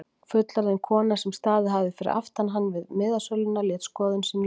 Fullorðin kona sem staðið hafði fyrir aftan hann við miðasöluna lét skoðun sína í ljós.